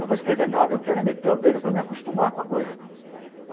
Não vou escrever nada, eu quero é meter o dedo para me acostumar com a coisa.